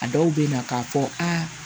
A dɔw bɛ na k'a fɔ aa